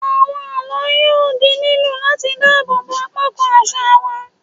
Àwọn àlọ́ yóò di lílò láti dáàbò bo apá kan àṣà wa.